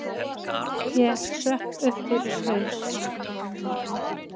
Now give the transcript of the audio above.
Ég sökk upp fyrir haus.